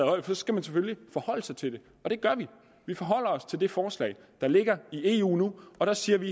højde for skal man selvfølgelig forholde sig til det og det gør vi vi forholder os til det forslag der ligger i eu nu og der siger vi